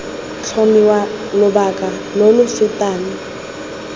tlhomiwa lobaka lo lo fetang